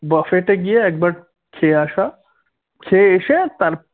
buffet এ গিয়ে একবার খেয়ে আসা খেয়ে এসে